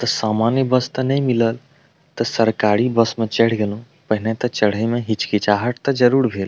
ते सामान्य बस ते ने मिलल ते सरकारी बस में चढ़ गैलो पहने ते चढ़े में हिचकिचाहट ते जरूर भेल--